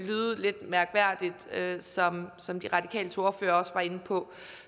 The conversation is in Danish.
lyde lidt mærkværdigt som som de radikales ordfører også var inde på